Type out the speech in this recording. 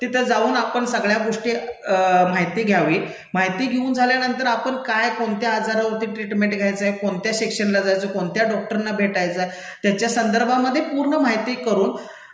तिथं जाऊन आपण सगळ्या गोष्टी माहिती घ्यावी, माहिती घेऊन झाल्यानंतर आपण काय, कोणत्या आजारावरती ट्रिटमेंट घ्यायचंय, कोणत्या सेक्शनला जायचंय, कोणत्या डॉक्टरना भेटायचंय त्याच्या संदर्भामध्ये पूर्ण माहिती करून